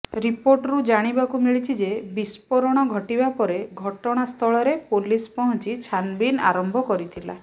ରିପୋର୍ଟରୁ ଜାଣିବାକୁ ମିଳିଛି ଯେ ବିସ୍ଫୋରଣ ଘଟିବା ପରେ ଘଟଣାସ୍ଥଳରେ ପୋଲିସ ପହଞ୍ଚି ଛାନଭିନ୍ ଆରମ୍ଭ କରିଥିଲା